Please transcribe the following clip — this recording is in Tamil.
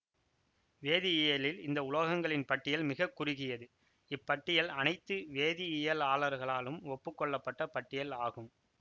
வேதியியலில் இந்த உலோகங்களின் பட்டியல் மிக குறுகியது இப்பட்டியல் அனைத்து வேதியியலாளர்களாலும் ஒப்புக்கொள்ளப்பட்ட பட்டியல் ஆகும்